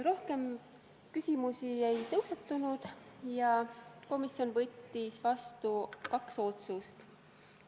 Rohkem küsimusi ei tekkinud ja komisjon võttis vastu kaks otsust.